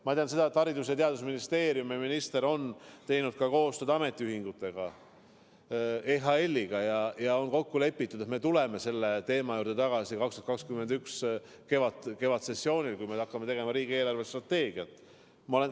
Ma tean, et Haridus- ja Teadusministeerium ning sealne minister on teinud koostööd ametiühingutega, sh EHL-iga, ning kokku on lepitud, et me tuleme selle teema juurde tagasi 2021. aasta kevadsessioonil, kui hakkame tegema riigi eelarvestrateegiat.